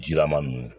Jilaman ninnu